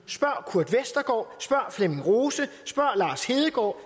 spørg flemming rose spørg lars hedegaard